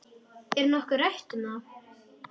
Er nokkuð rætt um það?